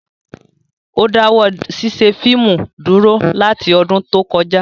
Ó dáwọ́ ṣíṣe fíìmù dúró láti ọdún tó kọjá